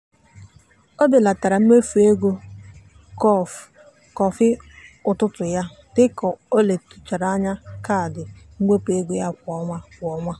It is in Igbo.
o belatara mmefu ego kọfị ụtụtụ ya dị ka ọ tụlechara kaadị mwepụ ego ya kwa ọnwa. kwa ọnwa.